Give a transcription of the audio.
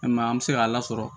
E ma ye an bɛ se k'a lasɔrɔ